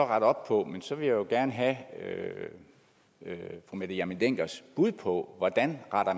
rette op på men så vil jeg jo gerne have fru mette hjermind denckers bud på hvordan